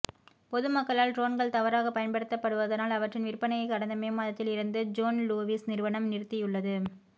பொதுமக்களால் ட்ரோன்கள் தவறாகப் பயன்படுத்தப்படுவதனால் அவற்றின் விற்பனையை கடந்த மே மாதத்தில் இருந்து ஜோன் லூவிஸ் நிறுவனம் நிறுத்தியுள்ளது